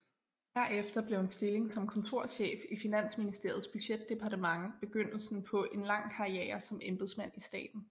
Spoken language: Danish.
Herefter blev en stilling som kontorchef i Finansministeriets budgetdepartement begyndelsen på en lang karriere som embedsmand i staten